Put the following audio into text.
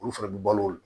Olu fɛnɛ bi balo